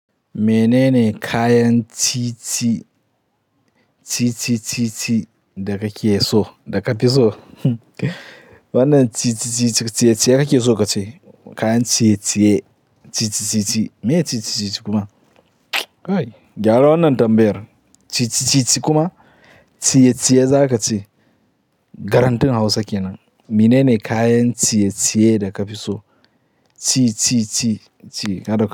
Menene kayan titi titi titi daga ke so daga fi so? Wannan titi titi titiye da ke so ka ce? Kayan titiye titi titi me titi titi kuma? Kai, gyara wannan tambayar. Titi titi kuma titiye za ka ce. Garantin Hausa kenan. Menene kayan titiye daga fi so? Ti ti ti ti kada ku.